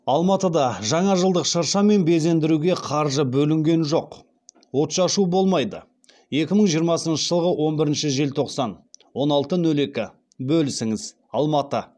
алматыда жаңажылдық шырша мен безендіруге қаржы бөлінген жоқ отшашу болмайды екі мың жиырмасыншы жылғы он бірінші желтоқсан он алты нөл екі бөлісіңіз алматы